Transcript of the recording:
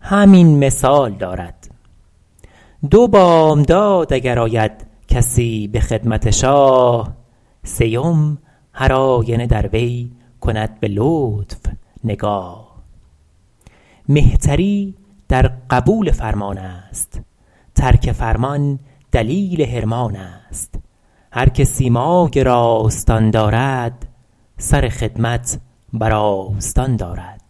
همین مثال دارد دو بامداد اگر آید کسی به خدمت شاه سیم هرآینه در وی کند به لطف نگاه مهتری در قبول فرمان است ترک فرمان دلیل حرمان است هر که سیمای راستان دارد سر خدمت بر آستان دارد